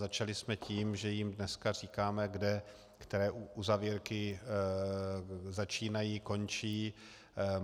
Začali jsme tím, že jim dneska říkáme, kde které uzavírky začínají, končí.